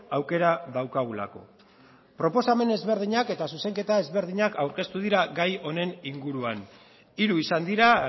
aukera daukagulako proposamen ezberdinak eta zuzenketa ezberdinak aurkeztu dira gai honen inguruan hiru izan dira